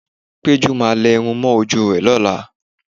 Pẹ́jú máa lẹ irun mọ́ ojú rẹ lọ́la